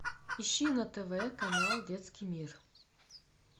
ищи на тв канал детский мир